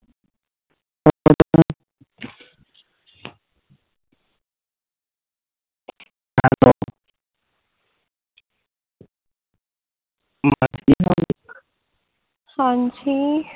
ਹਾਂਜੀ